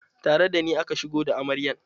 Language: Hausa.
Tare da ni aka shigo da amaryan.